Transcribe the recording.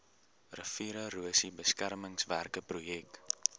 riviererosie beskermingswerke projek